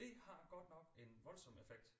Det har godt nok en voldsom effekt